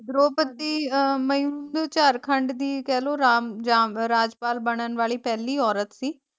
ਦ੍ਰੋਪਦੀ ਮਯੁ ਨੂੰ ਝਾਰਖੰਡ ਦੀ ਕਹਿਲੋ ਰਾਮ ਝਾਮ ਰਾਜਪਾਲ ਬਨਣ ਵਾਲੀ ਪਹਿਲੀ ਔਰਤ ਸੀ।